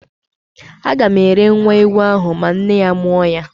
A gam ere nwa ewu ahụ ma nne ya mụọ ya